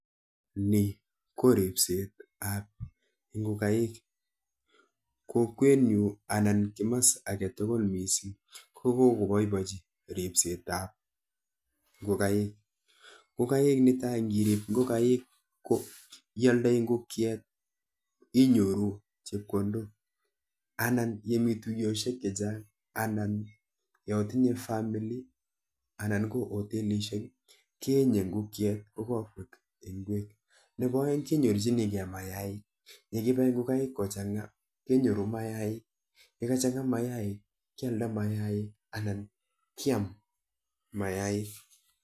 Nii koripseet ap.ngokaiik kokwet. nyuun kopaipachin ripseet ap ngokaik missing yaitinye (family) anan kutyet agetugul kealdai mayaiik